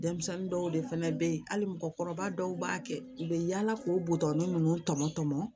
Denmisɛnnin dɔw de fɛnɛ be yen hali mɔgɔkɔrɔba dɔw b'a kɛ u bɛ yaala k'o buto ninnu tɔmɔ tɔmɔɔ